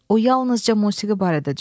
O yalnızca musiqi barədə düşünür.